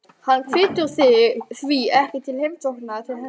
Hann hvetur því ekki til heimsókna til hennar.